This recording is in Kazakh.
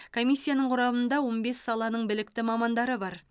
комиссияның құрамында он бес саланың білікті мамандары бар